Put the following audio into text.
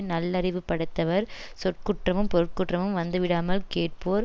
நல்லறிவு படைத்தவர் சொற்குற்றமும் பொருட்குற்றமும் வந்துவிடாமல் கேட்போர்